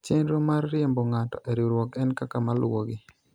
chenro mar riembo ng'ato e riwruok en kaka maluwogi